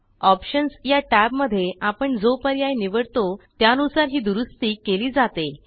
options या टॅबमध्ये आपण जो पर्याय निवडतो त्यानुसार ही दुरूस्ती केली जाते